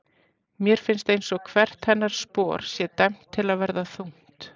Mér finnst einsog hvert hennar spor sé dæmt til að verða þungt.